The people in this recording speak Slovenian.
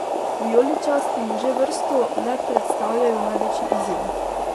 Vijoličasti mu že vrsto le predstavljajo največji izziv.